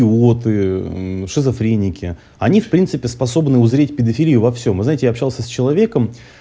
вот и шизофреники они в принципе способны узреть педофилию во всем вы знаете я общался с человеком